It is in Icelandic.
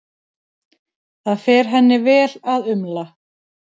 Það fer henni vel að umla.